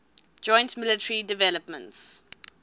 joint military developments